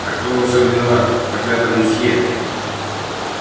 а кто во всём виноват проклятая мусье